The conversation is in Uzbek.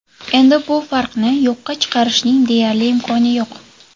Endi bu farqni yo‘qqa chiqarishning deyarli imkoni yo‘q.